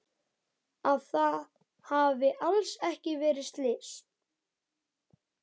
Að það hafi alls ekki verið slys.